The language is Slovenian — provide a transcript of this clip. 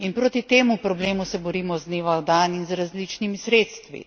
In proti temu problemu se borimo iz dneva v dan in z različnimi sredstvi.